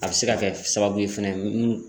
A bɛ se ka kɛ sababu ye fɛnɛ munnu